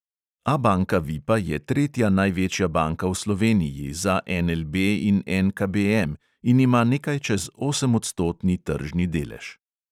Abanka vipa je tretja največja banka v sloveniji, za NLB in NKBM in ima nekaj čez osemodstotni tržni delež.